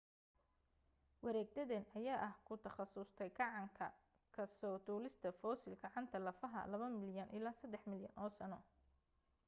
wareegtadan ayaa ah ku takhasustay gacanta ka soo duulista fossil gacanta lafaha laba milyan ilaa saddex milyan oo sano